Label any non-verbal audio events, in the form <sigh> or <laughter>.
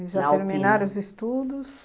<unintelligible> E já terminaram os estudos?